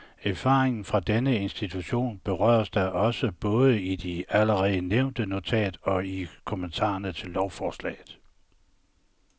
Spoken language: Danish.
Erfaringerne fra denne institution berøres da også både i det allerede nævnte notat og i kommentarerne til lovforslaget.